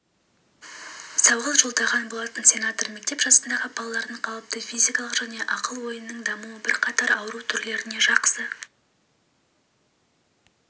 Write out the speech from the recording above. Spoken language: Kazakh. сауалжолдаған болатын сенатор мектеп жасындағы балалардың қалыпты физикалық және ақыл-ойының дамуы бірқатар ауру түрлеріне жақсы